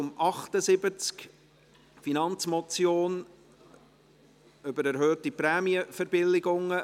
Traktandum 78: Finanzmotion «Erhöhung Prämienverbilligungen».